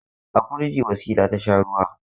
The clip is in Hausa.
A firigi Wasila ta sha ruwa.